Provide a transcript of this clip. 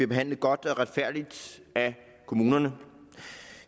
behandlet godt og retfærdigt af kommunerne